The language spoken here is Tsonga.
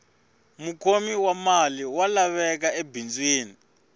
mukhomi wa mali wa laveka ebindzwini